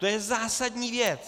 To je zásadní věc.